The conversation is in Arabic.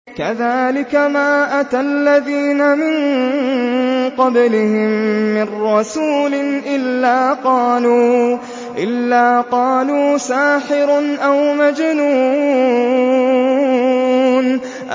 كَذَٰلِكَ مَا أَتَى الَّذِينَ مِن قَبْلِهِم مِّن رَّسُولٍ إِلَّا قَالُوا سَاحِرٌ أَوْ مَجْنُونٌ